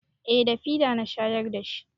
Eh da fida na shayar da shi.